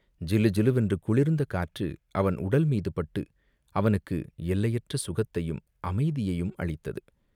ஜிலுஜிலுவென்று குளிர்ந்த காற்று அவன் உடல் மீது பட்டு அவனுக்கு எல்லையற்ற சுகத்தையும் அமைதியையும் அளித்தது.